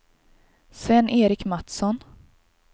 Sven-Erik Matsson